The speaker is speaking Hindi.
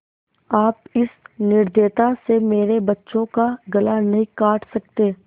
आप इस निर्दयता से मेरे बच्चों का गला नहीं काट सकते